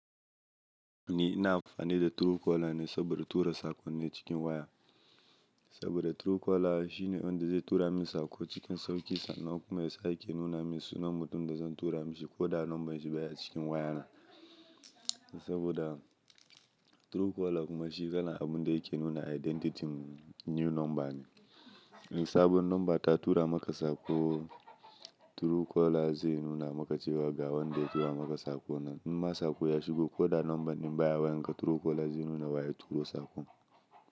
Ni na amfani da Truecaller ne saboda tura sakonni cikin waya. Saboda Truecaller shine wanda zai tura min sako cikin sauki sannan kuma ya sake nuna min sunan mutum da zan tura mashi koda number shi baya cikin wayana. Saboda Truecaller kuma shi kalan abu da yake nuna identity new number ne. Sabon number ta tura maka sako, Truecaller zai nuna maka cewa ga wanda ya tura maka sakon nan. Imma sako ya shigo ko da number din baya wayanka, Truecaller zai nuna waye turo sako.